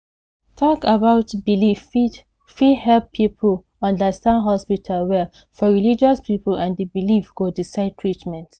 talk about belief fit fit help people understand hospital well for religious people and the belief go decide treatment